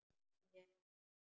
Ég er viss.